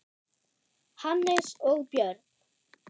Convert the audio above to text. Hannes og Björn.